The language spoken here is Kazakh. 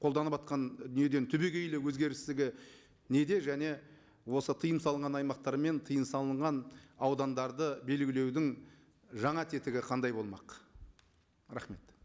қолданыватқан дүниеден түбегейлі өзгерістігі неде және осы тыйым салынған аймақтар мен тыйым салынған аудандарды белгілеудің жаңа тетігі қандай болмақ рахмет